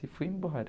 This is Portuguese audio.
E fui embora.